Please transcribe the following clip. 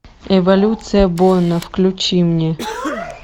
эволюция борна включи мне